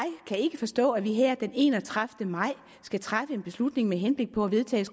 kan ikke forstå at vi her den enogtredivete maj skal træffe en beslutning med henblik på at vedtage